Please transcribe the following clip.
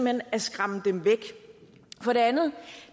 hen at skræmme dem væk for det andet